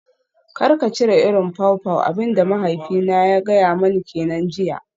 Kar ka cire irin pawpaw, abin da mahaifina ya gaya mani kenan jiya.